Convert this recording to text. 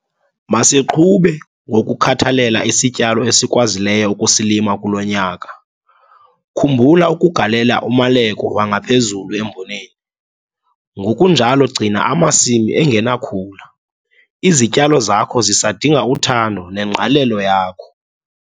Masiqhube ngokukhathalela isityalo esikwazileyo ukusilima kulo nyaka - khumbula ukugalela umaleko wangaphezulu emboneni, ngokunjalo gcina amasimi engenakhula - izityalo zakho zisadinga uthando nengqalelo yakho.